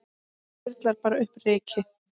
Það þyrlar bara upp ryki.